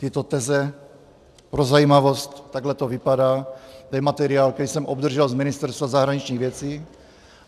Tyto teze - pro zajímavost, takhle to vypadá , to je materiál, který jsem obdržel z Ministerstva zahraničních věcí.